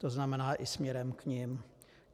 To znamená i směrem k nim.